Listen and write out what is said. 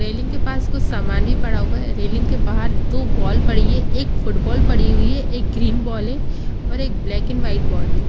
Railing के पास कुछ सामाने पड़ा हुआ है रेलिंग के बाहर दो बॉल पड़ी है एक फुटबॉल पड़ी हुई है एक ग्रीन बॉल है और एक ब्लैक एंड वाइट बॉल है।